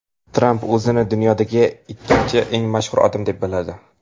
Tramp o‘zini dunyodagi ikkinchi eng mashhur odam deb biladi.